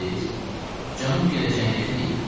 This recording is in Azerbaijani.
Cənub girəcəyindəkini deyirəm.